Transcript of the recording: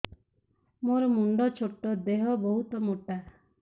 ମୋର ମୁଣ୍ଡ ଛୋଟ ଦେହ ବହୁତ ମୋଟା